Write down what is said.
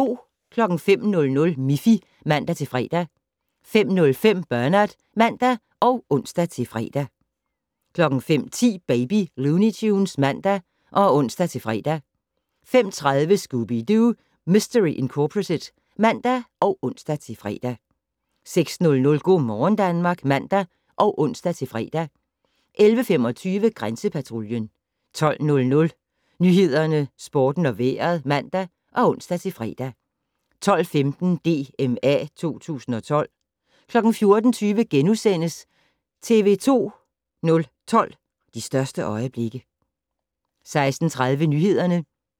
05:00: Miffy (man-fre) 05:05: Bernard (man og ons-fre) 05:10: Baby Looney Tunes (man og ons-fre) 05:30: Scooby-Doo! Mistery Incorporated (man og ons-fre) 06:00: Go' morgen Danmark (man og ons-fre) 11:25: Grænsepatruljen 12:00: Nyhederne, Sporten og Vejret (man og ons-fre) 12:15: DMA 2012 14:20: TV 2 012: De største øjeblikke * 16:30: Nyhederne